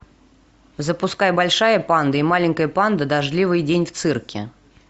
запускай большая панда и маленькая панда дождливый день в цирке